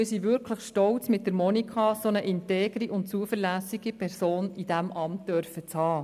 Wir sind wirklich stolz, mit Monika Gygax eine so integre und zuverlässige Person in diesem Amt zu haben.